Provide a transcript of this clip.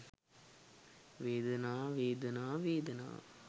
වේදනා වේදනා වේදනා